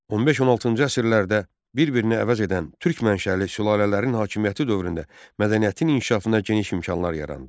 15-16-cı əsrlərdə bir-birini əvəz edən türk mənşəli sülalələrin hakimiyyəti dövründə mədəniyyətin inkişafına geniş imkanlar yarandı.